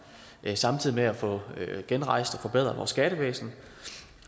samtidig med at få genrejst og forbedret vores skattevæsen